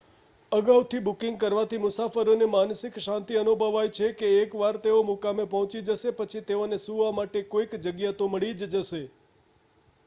અગાઉથી બુકિંગ કરવાથી મુસાફરોને માનસિક શાંતિ અનુભવાય છે કે એક વાર તેઓ મુકામે પહોંચી જશે પછી તેઓને સુવા માટે કોઈક જગ્યા તો મળી જ જશે